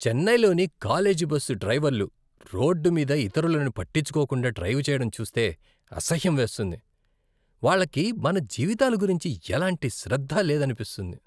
చెన్నైలోని college bus డ్రైవర్లు road మీద ఇతరులని పట్టించుకోకుండా డ్రైవ్ చేయడం చూస్తే అసహ్యం వేస్తుంది. వాళ్ళకి మన జీవితాల గురించి ఎలాంటి శ్రద్ధ లేదనిపిస్తుంది.